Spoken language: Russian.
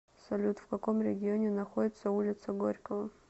салют в каком регионе находится улица горького